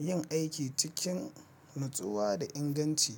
yin aiki cikin natsuwa da inganci.